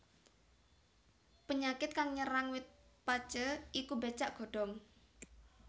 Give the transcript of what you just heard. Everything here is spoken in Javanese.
Penyakit kang nyerang wit pacé iku becak godhong